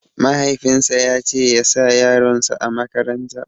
Mahaifin sa yace ya sa yaron sa a makaratan